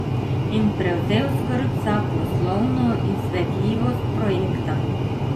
In prevzel skrb za poslovno izvedljivost projekta.